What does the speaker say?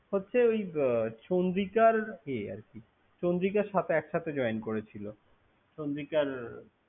হচ্ছে এ চন্দ্রিকার এ আরকি। চন্দ্রিকার সাথে এক সাথে জয়েন করেছি। চন্দ্রিকার।